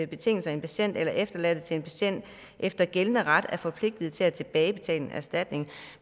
betingelser en patient eller efterladte til en patient efter gældende ret er forpligtet til at tilbagebetale en erstatning